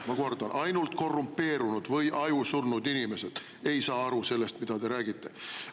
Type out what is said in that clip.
Ma kordan: ainult korrumpeerunud või ajusurnud inimesed ei saa aru sellest, mida te räägite!